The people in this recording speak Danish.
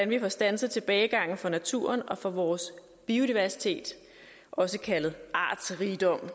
vi får standset tilbagegangen for naturen og for vores biodiversitet også kaldet artsrigdom